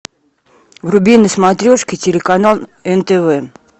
вруби на смотрешке телеканал нтв